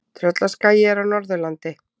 Tröllaskagi er á Norðurlandi.